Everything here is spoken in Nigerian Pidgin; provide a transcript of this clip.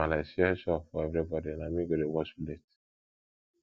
my maale don share chore for everybodi na me go dey wash plate